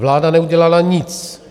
Vláda neudělala nic.